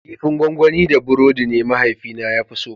Kifin gonggoni da burodi ne mahaifina ya fi so.